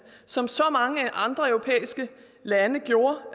som så mange andre europæiske lande gjorde